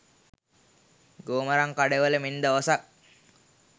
ගෝමරන්කඩවල මෙන් දවසක්